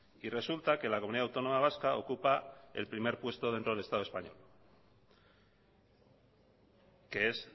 y resulta que la comunidad autónoma vasca ocupa el primer puesto dentro del estado español que es